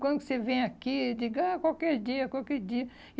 Quando que você vem aqui? Eu digo, ah, qualquer dia, qualquer dia.